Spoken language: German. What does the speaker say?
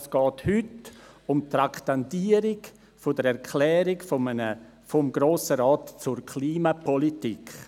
Heute geht es um die Traktandierung einer «Erklärung des Grossen Rates zur Klimapolitik».